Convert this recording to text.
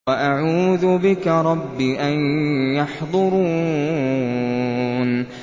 وَأَعُوذُ بِكَ رَبِّ أَن يَحْضُرُونِ